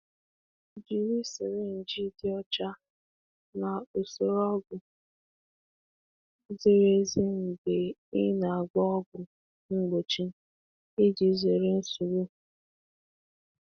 Jiri sirinji dị ọcha na ogo ọgwụ ziri ezi mgbe a na-enye ọgwụ ka nsogbu ghara ịdaba.